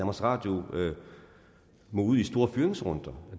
radio må ud i store fyringsrunder